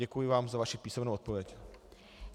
Děkuji vám za vaši písemnou odpověď.